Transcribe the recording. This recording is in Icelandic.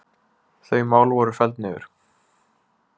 Þau mál voru felld niður